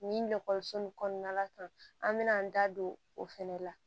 Nin ekɔliso nin kɔnɔna la an bɛna an da don o fɛnɛ la